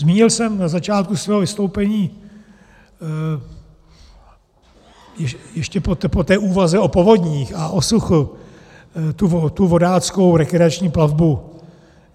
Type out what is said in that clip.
Zmínil jsem na začátku svého vystoupení ještě po té úvaze o povodních a o suchu tu vodáckou rekreační plavbu.